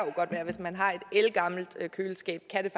jo godt være hvis man har et ældgammelt køleskab kan